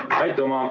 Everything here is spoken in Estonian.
Aitüma!